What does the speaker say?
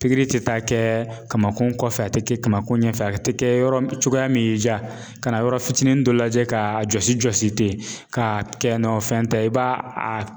tɛ taa kɛ kamankun kɔfɛ a tɛ kɛ kamakun ɲɛfɛ a tɛ kɛ yɔrɔ cogoya min y'i ja ka yɔrɔ fitinin dɔ lajɛ k'a jɔsi jɔsi ten k'a kɛ o fɛn tɛ.